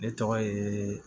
Ne tɔgɔ ye